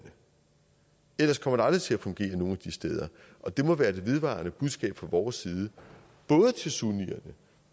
ellers kommer det aldrig til at fungere nogen af de steder og det må være det vedvarende budskab fra vores side både til sunnierne